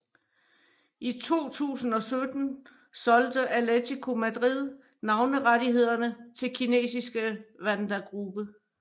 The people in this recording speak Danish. I 2017 solgte Atlético Madrid navnerettighederne til kinesiske Wanda Group